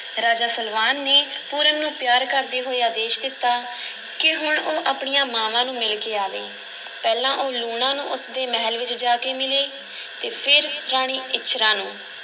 ਰਾਜਾ ਸਲਵਾਨ ਨੇ ਪੂਰਨ ਨੂੰ ਪਿਆਰ ਕਰਦੇ ਹੋਏ ਆਦੇਸ਼ ਦਿੱਤਾ ਕਿ ਹੁਣ ਉਹ ਆਪਣੀਆਂ ਮਾਂਵਾਂ ਨੂੰ ਮਿਲ ਕੇ ਆਵੇ, ਪਹਿਲਾਂ ਉਹ ਲੂਣਾ ਨੂੰ ਉਸ ਦੇ ਮਹਿਲ ਵਿੱਚ ਜਾ ਕੇ ਮਿਲੇ ਅਤੇ ਫਿਰ ਰਾਣੀ ਇੱਛਰਾਂ ਨੂੰ।